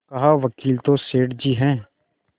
कहावकील तो सेठ जी हैं